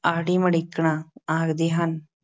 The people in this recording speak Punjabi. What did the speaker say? ‘ਆੜੀ ਮੜਿੱਕਣਾ’ ਆਖਦੇ ਹਨ।